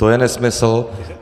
To je nesmysl.